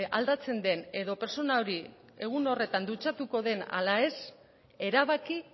aldatzen den edo pertsona hori egun horretan dutxatuko den ala ez erabaki